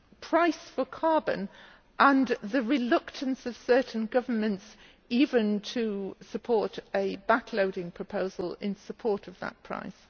price for carbon and the reluctance of certain governments even to support a backloading proposal in support of that price?